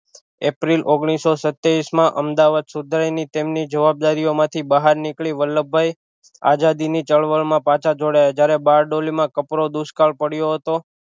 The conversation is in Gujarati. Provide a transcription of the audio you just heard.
એપ્રિલ ઓગનીશો સત્યાવીશ માં અમદાવાદ સુધાઈ ની તેમની જવાબદારીઓમાંથી બહાર નીકળી વલ્લભભાઈ આઝાદી ની ચળવળ માં પાછા જોડાયા જ્યારે બારડોલી માં કપરો દુષ્કાળ પડ્યો હતો